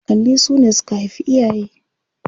Kakanni su ne suka haifi iyaye.